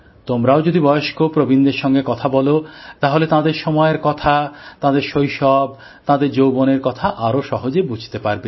তোমরাও যদি বয়স্ক প্রবীণদের সঙ্গে কথা বল তাহলে তাঁদের সময়ের কথা তাঁদের শৈশব তাঁদের যৌবনের কথা আরো সহজে বুঝতে পারবে